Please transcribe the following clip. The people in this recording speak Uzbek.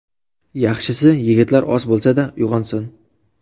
Yaxshisi, yigitlar oz bo‘lsa-da uyg‘onsin.